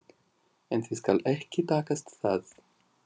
En því skal ekki takast það.